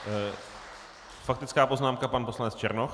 Faktická poznámka pan poslanec Černoch.